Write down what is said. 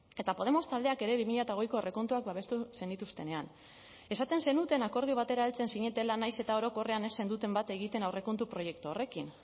eta podemos taldeak ere bi mila hogeiko aurrekontuak babestu zenituztenean esaten zenuten akordio batera heltzen zinetela nahiz eta orokorrean ez zenuten bat egiten aurrekontu proiektu horrekin